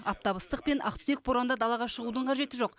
аптап ыстық пен ақтүтек боранда далаға шығудың қажеті жоқ